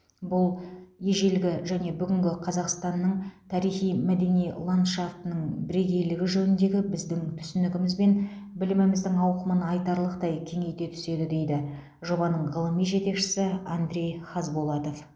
бұл ежелгі және бүгінгі қазақстанның тарихи мәдени ландшафтының бірегейлігі жөніндегі біздің түсінігіміз бен біліміміздің ауқымын айтарлықтай кеңейте түседі дейді жобаның ғылыми жетекшісі андрей хазбулатов